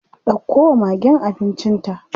Ɗauko wa magen abincin ta.